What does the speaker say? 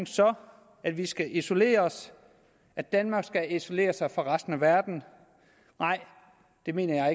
så at vi skal isolere os at danmark skal isolere sig fra resten af verden nej det mener jeg